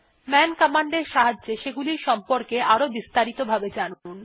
মান কমান্ড এর সাহায্যে সেগুলির সম্পর্কে আরো বিস্তারিত ভাবে জানুন